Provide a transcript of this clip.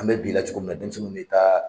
An mɛ bi la cogo min na denmisɛnnu mi taa